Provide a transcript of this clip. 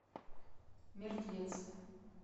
мертвец